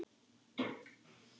En þannig var Gunna.